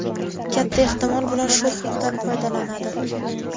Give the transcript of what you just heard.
Katta ehtimol bilan shu huquqdan foydalanadi.